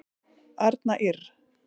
Arna Ýrr.